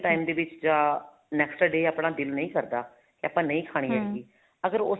time ਦੇ ਵਿੱਚ ਜਾਂ next day ਆਪਣਾ ਦਿਲ ਨਹੀਂ ਕਰਦਾ ਤੇ ਆਪਾਂ ਨਹੀਂ ਖਾਣੀ ਹੈਗੀ ਅਗਰ ਉਸੇ